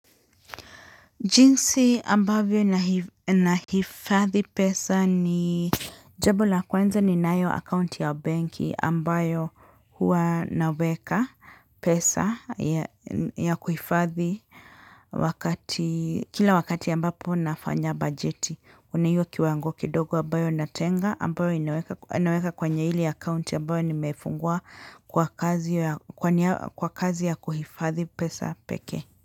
Jinsi ambavyo na nahifadhi pesa ni jambo la kweanza ninayo akaunti ya benki ambayo hua naweka pesa ya kuhifadhi. Wakati kila wakati ambapo nafanya bajeti kuna hiyo kiwango kidogo ambayo natenga ambayo inaweka naweka kwenye ile akaunti ambayo nimefungua kwa kazi ya kwa kazi ya kuhifadhi pesa pekee.